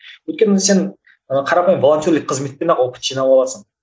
өйткені сен ы қарапайым волонтерлік қызметпен ақ опыт жинап аласың